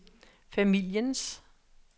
familiens